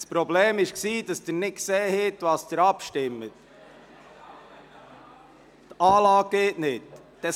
Das Problem habe darin bestanden, dass Sie nicht gesehen haben, worüber Sie abstimmen, weil die Abstimmungsanlage nicht funktioniere.